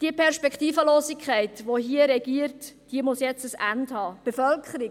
Die Perspektivlosigkeit, die hier regiert, muss jetzt ein Ende haben.